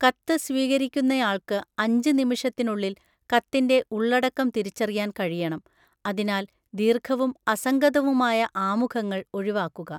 കത്ത് സ്വീകരിക്കുന്നയാൾക്ക് അഞ്ച് നിമിഷത്തിനുള്ളിൽ കത്തിൻ്റെ ഉള്ളടക്കം തിരിച്ചറിയാൻ കഴിയണം, അതിനാൽ ദീർഘവും അസംഗതവുമായ ആമുഖങ്ങൾ ഒഴിവാക്കുക.